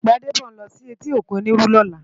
Gbadebo n lò si éti ókún Oniru lòlá